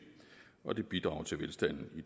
og det bidrager til velstanden i